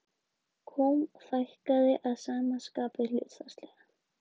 Kúm fækkaði að sama skapi hlutfallslega.